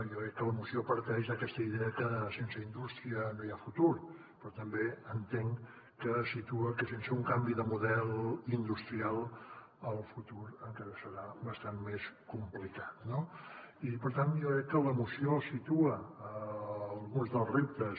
jo crec que la moció parteix d’aquesta idea que sense indústria no hi ha futur però també entenc que situa que sense un canvi de model industrial el futur encara serà bastant més complicat no i per tant jo crec que la moció situa alguns dels reptes